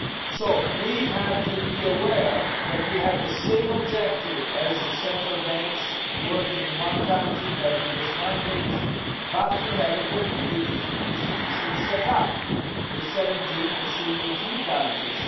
So we have to be aware that we have the same objective as the central banks working in one country having this mandate, but we have a completely different institutional set up, with 17 and soon 18 countries.